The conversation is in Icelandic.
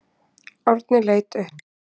Árni leit upp.